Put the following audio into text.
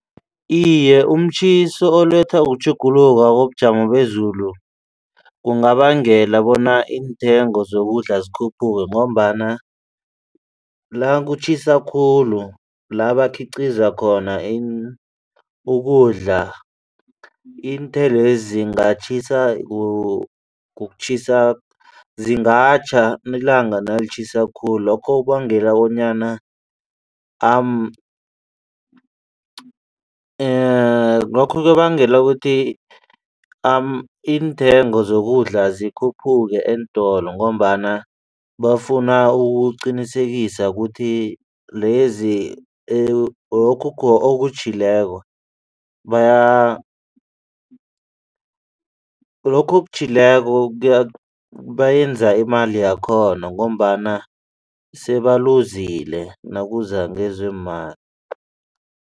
Iye, umtjhiso oletha kutjhuguluka kobujamo bezulu kungabangela bona iintengo zokudla zikhuphuke ngombana la kutjhisa khulu la abakhiqiza khona ukudla iinthelwezi zingatjhiswa kutjhisa zingatjha ilanga nalitjhisa khulu. Lokho kubangela bonyana lokho kubangela ukuthi iintengo zokudla zikhuphuke eentolo ngombana bafuna ukuqinisekisa ukuthi lezi lokhu okutjhileko bayenza imali yakhona ngombana sebaluzile nakuza ngezeemali.